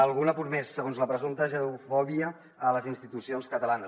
algun apunt més la presumpta judeofòbia a les institucions catalanes